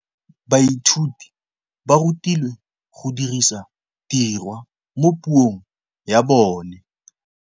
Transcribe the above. Baithuti ba rutilwe go dirisa tirwa mo puong ya bone.